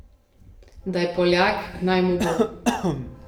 Da je Poljak, naj mu bo.